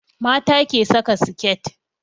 Mata ke saka siket